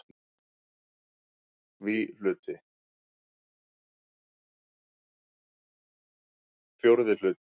VI Hluti